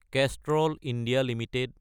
Kestrel India Ltd